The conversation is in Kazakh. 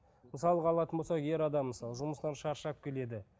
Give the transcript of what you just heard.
мысалға алатын болсақ ер адам мысалы жұмыстан шаршап келеді